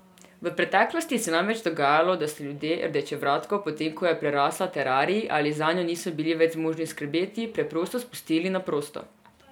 V preteklosti se je namreč dogajalo, da so ljudje rdečevratko, potem ko je prerasla terarij ali zanjo niso bili več zmožni skrbeti, preprosto spustili na prosto.